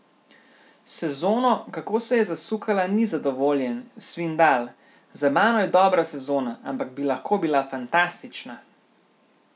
S sezono, kako se je zasukala ni zadovoljen, Svindal: "Za mano je dobra sezona, ampak bi lahko bila fantastična.